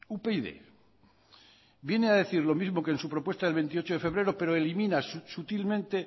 upyd viene a decir lo mismo que en su propuesta del veintiocho de febrero pero elimina sutilmente